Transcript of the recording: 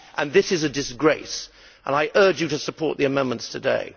This is a disgrace and I urge colleagues to support the amendments today.